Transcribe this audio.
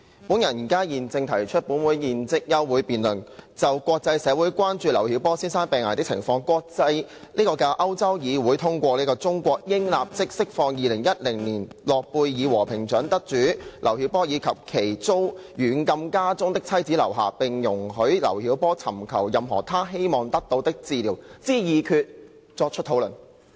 我現正提出本會現即休會待續的議案，以就國際社會關注劉曉波先生病危的情況及國際的歐洲議會通過"中國應立即釋放2010年諾貝爾和平獎得主劉曉波以及其遭軟禁家中的妻子劉霞，並容許劉曉波尋求任何他希望得到的治療"的決議，作出討論。